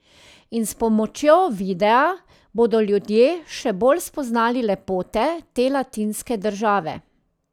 In s pomočjo videa bodo ljudje še bolj spoznali lepote te latinske države.